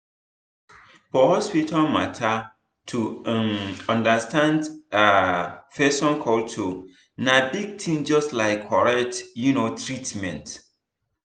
for hospital matter to um understand um person culture na big thing just like correct um treatment.